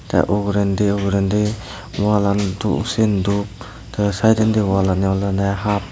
tey ugurendi ugurendi wallan sen dup tey sayedendi wallani olodey hup.